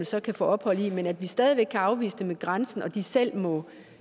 så kan få ophold i mens vi stadig væk kan afvise dem ved grænsen og de selv må